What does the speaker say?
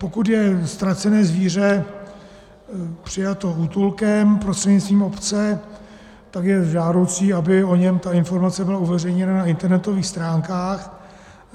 Pokud je ztracené zvíře přijato útulkem prostřednictvím obce, tak je žádoucí, aby o něm ta informace byla uveřejněna na internetových stránkách.